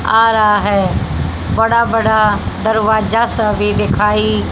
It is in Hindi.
आ रहा हैं बड़ा बड़ा दरवाजा सब भी दिखाई--